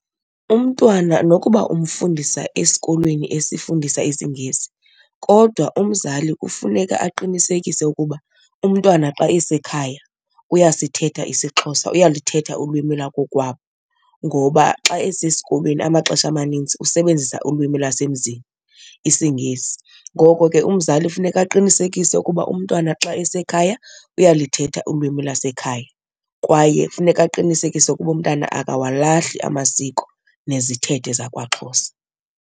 Umntwana nokuba umfundisa xa esikolweni esifundisa isiNgesi kodwa umzali kufuneka aqinisekise ukuba umntwana xa esekhaya uyasithetha isiXhosa, uyalithetha ulwimi lwakokwabo ngoba xa esesikolweni amaxesha amanintsi usebenzisa ulwimi lwasemzini, isiNgesi. Ngoko ke umzali funeka aqinisekise ukuba umntwana xa esekhaya uyalithetha ulwimi lwasekhaya kwaye funeka aqinisekise ukuba umntana akawalahli amasiko nezithethe zakwaXhosa.